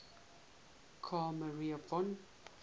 carl maria von